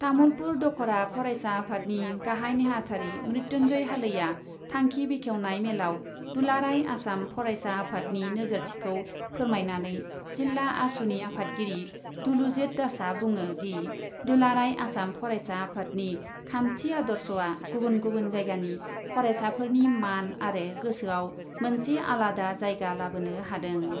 तामुलपुर दखरा फरायसा आफादनि गाहाइ नेहाथारि मृत्युन्जय हालैआ थांखि बेखेवनाय मेलाव दुलाराइ आसाम फरायसा आफादनि नोजोरथिखौ फोरमायनानै जिल्ला आसुनि आफादगिरि दुलुजित दासआ बुङो दि, दुलाराइ आसाम फरायसा आफादनि खान्थि आदर्शआ गुबुन गुबुन जायगानि फरायसाफोरनि मान आरो गोसोआव मोनसे आलादा जायगा लाबोनो हादों।